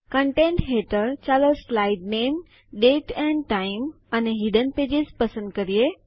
content હેઠળ ચાલો slide નામે દાતે અને ટાઇમ અને હિડન પેજેસ પસંદ કરીએ